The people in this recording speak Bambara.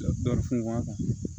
Dɔ funfun a kan